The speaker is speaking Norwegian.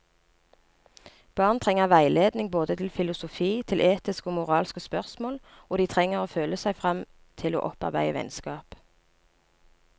Barn trenger veiledning både til filosofi, til etiske og moralske spørsmål, og de trenger å føle seg frem til å opparbeide vennskap.